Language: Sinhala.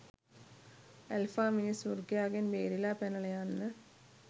ඇල්ෆා මිනිස් වෘකයාගෙන් බේරිලා පැනලා යන්න